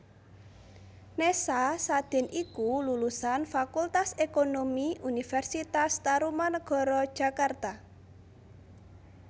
Nessa Sadin iku lulusan Fakultas Ekonomi Universitas Tarumanagara Jakarta